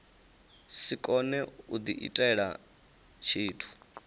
si kone u diitela tshithu